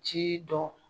Ci dɔn